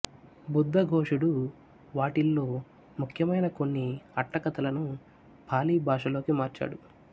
బుద్దఘోషుడు వాటిల్లో ముఖ్యమైన కొన్ని అట్టకథలను పాళీ భాషలోకి మార్చాడు